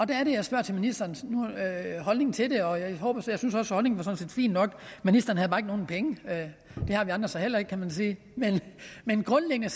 der er det jeg spørger til ministerens holdning til det og jeg at holdningen var fin nok ministeren havde bare ikke nogen penge det har vi andre så heller ikke kan man sige men grundlæggende